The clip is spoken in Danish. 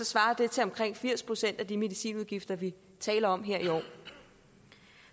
svarer det til omkring firs procent af de medicinudgifter vi taler om her i år